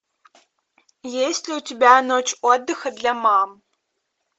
есть ли у тебя ночь отдыха для мам